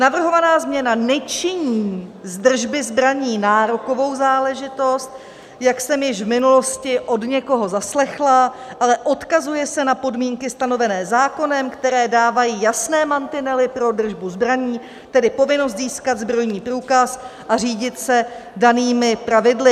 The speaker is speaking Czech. Navrhovaná změna nečiní z držby zbraní nárokovou záležitost, jak jsem již v minulosti od někoho zaslechla, ale odkazuje se na podmínky stanovené zákonem, které dávají jasné mantinely pro držbu zbraní, tedy povinnost získat zbrojní průkaz a řídit se danými pravidly.